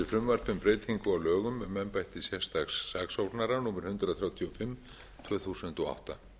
lögum um embætti sérstaks saksóknara númer hundrað þrjátíu og fimm tvö þúsund og átta